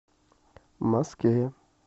москве